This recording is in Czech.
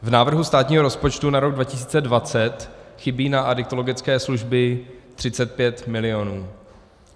V návrhu státního rozpočtu na rok 2020 chybí na adiktologické služby 35 mil.